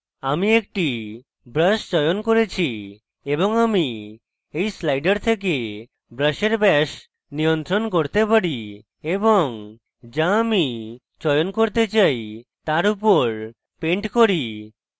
আমি একটি brush চয়ন করেছি এবং আমি এই slider থেকে brush brush নিয়ন্ত্রণ করতে পারি এবং যা আমি চয়ন করতে চাই তার উপর paint করি